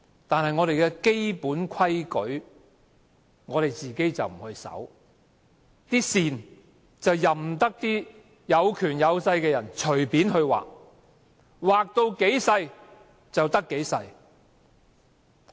但是，我們的基本規矩，我們卻不遵守，任由有權有勢的人隨便劃線，把空間越劃越小。